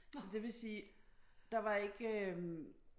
Så det vil sige der var ikke øh